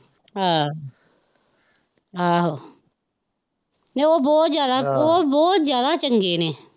ਅਹ ਆਹੋ ਨਹੀਂ ਉਹ ਬਹੁਤ ਜਿਆਦਾ ਉਹ ਬਹੁਤ ਜਿਆਦਾ ਚੰਗੇ ਨੇ।